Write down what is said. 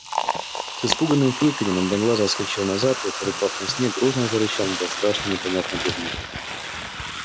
с испуганным фырканьем одноглазый отскочил назад и припав на снег грозно зарычал на этот страшный и непонятный предмет